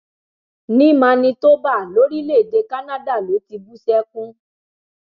ní manitoba lórílẹèdè canada ló ti bú sẹkún